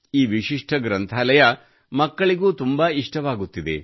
ಈ ವಿಶಿಷ್ಟ ಗ್ರಂಥಾಲಯವು ಮಕ್ಕಳಿಗೂ ತುಂಬಾ ಇಷ್ಟವಾಗುತ್ತಿದೆ